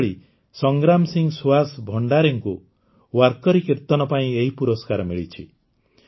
ସେହିଭଳି ସଂଗ୍ରାମ ସିଂ ସୁହାସ ଭଣ୍ଡାରେଙ୍କୁ ୱାର୍କରୀ କୀର୍ତନ ପାଇଁ ଏହି ପୁରସ୍କାର ମିଳିଛି